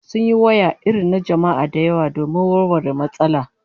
Sun yi waya irin na jama'a da yawa domin warware matsalar